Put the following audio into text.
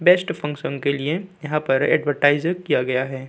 Best function के लिए यहाँ पर एडवर्टाइज किया गया है।